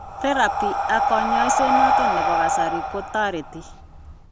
therapy ak kanyaiset noton nebo kasari ko tareti